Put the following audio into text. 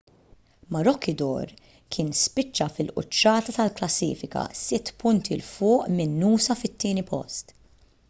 maroochydore kien spiċċa fil-quċċata tal-klassifika sitt punti l fuq minn noosa fit-tieni post